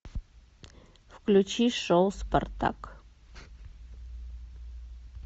включи шоу спартак